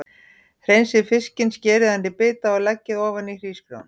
Hreinsið fiskinn, skerið hann í bita og leggið ofan á hrísgrjónin.